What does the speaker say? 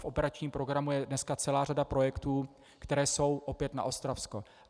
V operačním programu je dneska celá řada projektů, které jsou opět na Ostravsko.